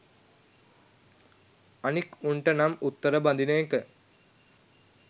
අනික් උන්ට නම් උත්තර බඳින එක